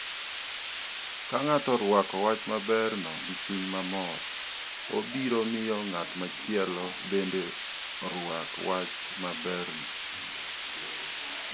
Ka ng'ato orwako wach maberno gi chuny mamor, obiro miyo ng'at machielo bende orwak wach maberno.